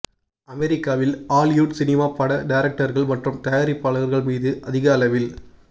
அமெரிக்காவில் Hollywood cinema பட டைரக்டர்கள் மற்றும் தயாரிப்பாளர்கள் மீது அதிக அளவில்